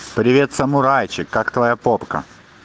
привет самурайчик как твоя попка